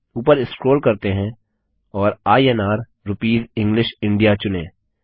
ऊपर स्क्रोल करते हैं और इन्र रूपीस इंग्लिश इंडिया चुनें